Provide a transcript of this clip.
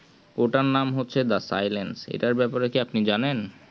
ওটার নাম হচ্ছে the silence এটার ব্যাপারে কি আপনি জানেন